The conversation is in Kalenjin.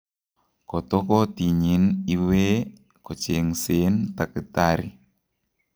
Koto kotinyin iwee kochengseen takitari